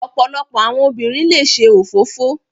Ọ̀pọ̀lọpọ̀ àwọn obìnrin le ṣe òfófó.